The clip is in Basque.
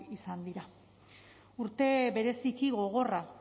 izan dira urte bereziki gogorra